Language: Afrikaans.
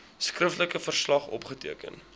skriftelike verslag opgeteken